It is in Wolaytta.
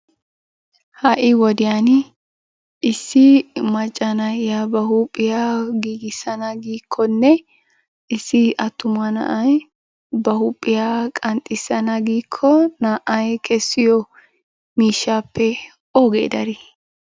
ha'i wodiyaan issi macca nayyiya ba huuphiyaa giigissan giikkonne issi attuma na'ay ba huuphiyaa qanxxissana giiko naa''ay kessiyo miishshappe ooge darii?